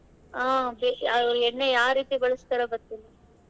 ಹಾ ಬೆ~ ಎಣ್ಣೆ ಯಾವ್ ರೀತಿ ಬಳಸ್ತಾರೋ ಗೊತ್ತಿಲ್ಲ.